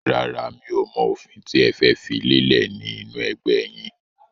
Rárá, mi ò mọ òfin tí ẹ fẹ́ fi lélẹ̀ ni inu ẹgbẹ́ yìn.